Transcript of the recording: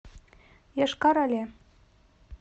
йошкар оле